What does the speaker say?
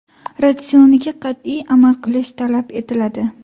Ratsioniga qat’iy amal qilish talab etiladi.